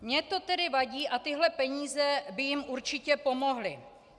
Mně to tedy vadí a tyhle peníze by jim určitě pomohly.